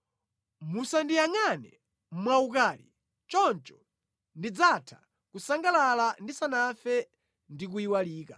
Musandiyangʼane mwaukali, choncho ndidzatha kusangalala ndisanafe ndi kuyiwalika.”